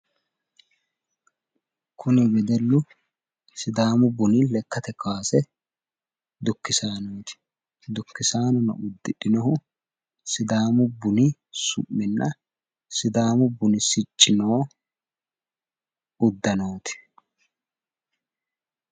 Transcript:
Kunni wedellu sidaamu bunni lakkate kaase dukisaanooti. Dukisaanono udidhinohu sidaamu bunni su'minna sidaamu bunni sicci noo udanooti